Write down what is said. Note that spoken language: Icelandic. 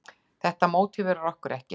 Þetta mótiverar okkur ekki.